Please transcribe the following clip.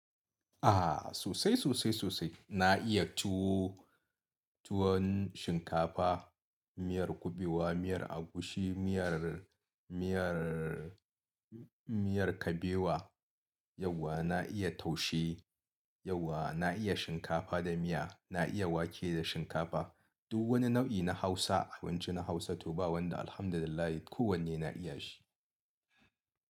Aha sosai sosai sosai na iya tuwo, tuwon shinkafa, miyar kuɓewa, miyar agushi, miyar, miyar, miyar kabewa. Yauwa na iya taushe, yauwa na iya shinkafa da miya, na iya wake da shinkafa. Duk wani nau'i na Hausa, abinci na Hausa to ba wanda Alhamdulillah ko wanne na iya shi.